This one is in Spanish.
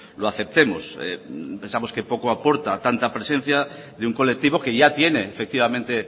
lo aceptemos pensamos que poco aporta tanta presencia de un colectivo que ya tiene efectivamente